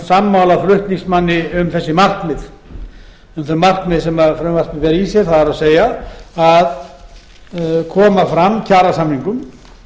sama flutningsmanni um þessi markmið sem frumvarpið ber í sér það er að koma fram kjarasamningum